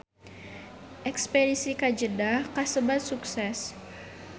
Espedisi ka Jeddah kasebat sukses